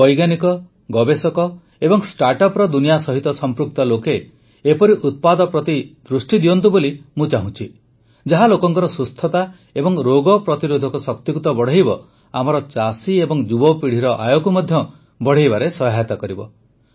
ମୁଁ ବୈଜ୍ଞାନିକ ଗବେଷକ ଏବଂ ଷ୍ଟାଟ୍ଅପ୍ର ଦୁନିଆ ସହିତ ସମ୍ପୃକ୍ତ ଲୋକେ ଏପରି ଉତ୍ପାଦ ପ୍ରତି ଦୃଷ୍ଟି ଦିଅନ୍ତୁ ବୋଲି ଚାହୁଁଛି ଯାହା ଲୋକଙ୍କର ସୁସ୍ଥତା ଏବଂ ରୋଗ ପ୍ରତିରୋଧକ ଶକ୍ତିକୁ ତ ବଢ଼ାଇବ ଆମର ଚାଷୀ ଏବଂ ଯୁବପିଢ଼ିର ଆୟକୁ ମଧ୍ୟ ବଢ଼ାଇବାରେ ସହାୟତା କରିବ